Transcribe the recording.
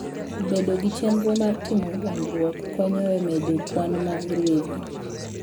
Bedo gi chenro mar timo dongruok konyo e medo kwan mag ruedhi.